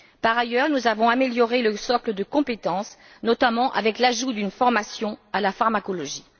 Par ailleurs, nous avons amélioré le socle de compétences, notamment avec l'ajout d'une formation à la pharmacologie.